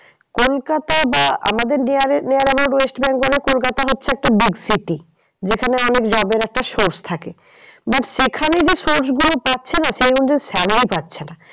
কলকাতা বা আমাদের আমাদের west bengal এ কলকাতা হচ্ছে একটা big city যেখানে অনেক job এর একটা source থাকে। but সেখানে যে source গুলো পাচ্ছে না সেই অনুযায়ী salary পাচ্ছে না।